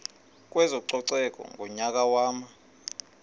kwezococeko ngonyaka wama